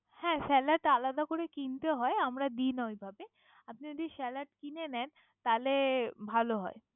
হ্যা সালাদ আলাদা কিনতে হয়। আমরা দি না ওই ভাব। আপনি যদি সালাদ কিনে ভালো হয়।